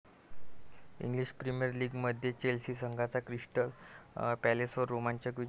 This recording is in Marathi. इंग्लिश प्रीमियर लीगमध्ये चेल्सी संघाचा क्रिस्टल पॅलेसवर रोमांचक विजय